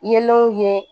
Yeelenw ye